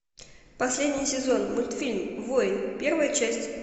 последний сезон мультфильм воин первая часть